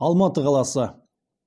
алматы қаласы